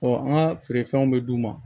an ka feerefɛnw bɛ d'u ma